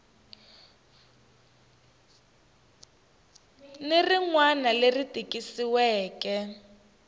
ni rin wana leri tikisiweke